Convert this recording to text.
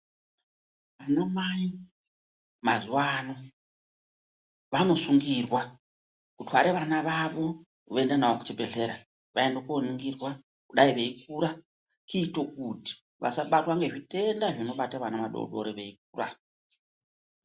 Vanamai mazuwaano, vanosungirwa kutware vana vavo, voenda navo kuzvibhedhlera, vaende kooningirwa ,kudai veikura, kuite kuti vasabatwa ngezvitenda zvinobata vana vadodori veikura.